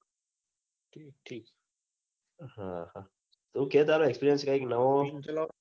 હ હ તુ કે તારો experience કઈક નવો